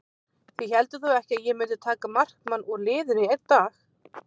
Þið hélduð þó ekki að ég mundi taka markmann úr liðinu í einn leik?